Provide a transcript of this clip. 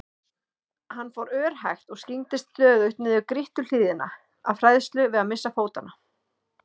Hann fór örhægt og skyggndist stöðugt niður grýtta hlíðina af hræðslu við að missa fótanna.